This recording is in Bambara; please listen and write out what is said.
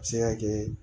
A bɛ se ka kɛ